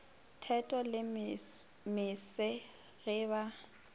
theto le mose ge ba